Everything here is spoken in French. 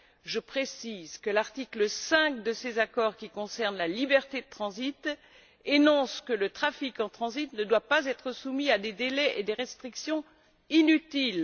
Je précise que l'article 5 de ces accords qui concerne la liberté de transit énonce que le trafic en transit ne doit pas être soumis à des délais et à des restrictions inutiles.